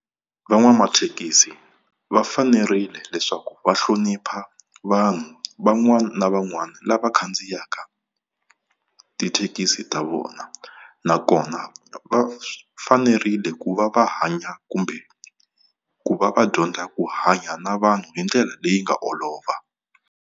Van'wamathekisi va fanerile leswaku va hlonipha vanhu van'wana na van'wana lava khandziyaka tithekisi ta vona. Nakona va fanerile ku va va hanya kumbe ku va va dyondza ku hanya na vanhu hi ndlela leyi nga olova.